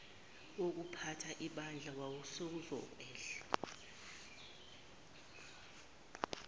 wokuphatha ibandla wawusuzokwehla